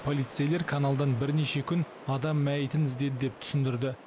полицейлер каналдан бірнеше күн адам мәйітін іздеді деп түсіндірді